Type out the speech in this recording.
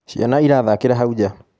Ciana irathakĩra hau nja.